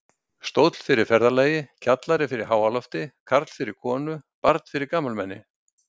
Stóll fyrir ferðalagi, kjallari fyrir háalofti, karl fyrir konu, barn fyrir gamalmenni.